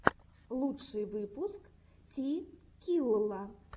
лучший выпуск ти килла